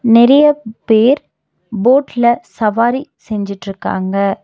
நெறைய பேர் போட்ல சவாரி செஞ்சுட்ருக்காங்க.